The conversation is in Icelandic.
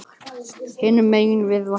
Hinum megin við vatnið.